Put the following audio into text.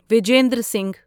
Vijender Singh